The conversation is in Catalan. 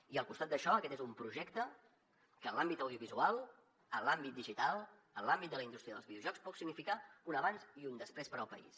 i al costat d’això aquest és un projecte que en l’àmbit audiovisual en l’àmbit digital en l’àmbit de la indústria dels videojocs pot significar un abans i un després per al país